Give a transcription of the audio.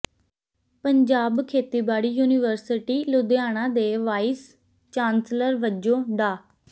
ਪੰਜਾਬ ਖੇਤੀਬਾੜੀ ਯੂਨੀਵਰਸਿਟੀ ਲੁਧਿਆਣਾ ਦੇ vice chancellor ਵਜੋਂ ਡਾ